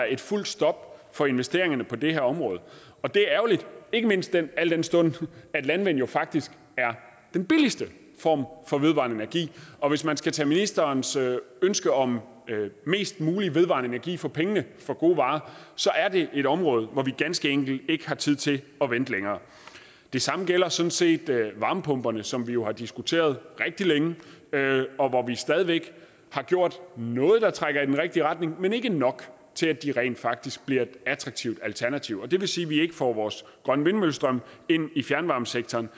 et fuldt stop for investeringerne på det her område og det er ærgerligt ikke mindst al den stund at landvind faktisk er den billigste form for vedvarende energi og hvis man skal tage ministerens ønske om mest mulig vedvarende energi for pengene for gode varer er det et område hvor vi ganske enkelt ikke har tid til at vente længere det samme gælder sådan set varmepumperne som vi jo har diskuteret rigtig længe og hvor vi stadig væk har gjort noget der trækker i den rigtige retning men ikke nok til at de rent faktisk bliver et attraktivt alternativ det vil sige at vi ikke får vores grønne vindmøllestrøm ind i fjernvarmesektoren